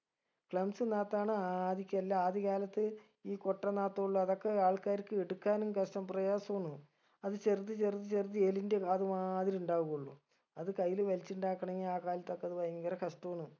clumps നാത്ത് ആണ് ആദിക്കെല്ലാ ആദ്യകാലത്ത് ഈ കൊട്ടനാത്തുള്ളു അതൊക്കെ ആൾക്കാർക്ക് എടുക്കാനും കഷ്ട്ടം പ്രയാസൊ ആണ് അത് ചെറുത് ചെറുത് ചെറുത് എലിൻറെ കാത് മാതിരി ഉണ്ടാവുള്ളു അത് കയ്യിൽ വലിച്ച് ഉണ്ടാക്കണെങ്കി ആ കാലത്തൊക്കെ അത് ഭയങ്കര കഷ്ട്ടാണ്